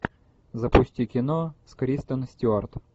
запусти кино с кристен стюарт